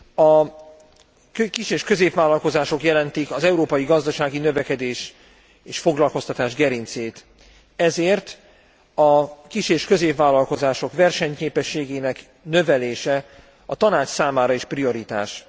A kis és középvállalkozások jelentik az európai gazdasági növekedés és foglalkoztatás gerincét, ezért a kis és középvállalkozások versenyképességének növelése a Tanács számára is prioritás.